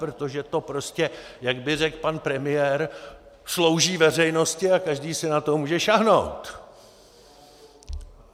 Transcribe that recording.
Protože to prostě, jak by řekl pan premiér, slouží veřejnosti a každý si na to může sáhnout.